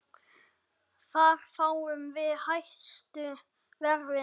Þar fáum við hæstu verðin.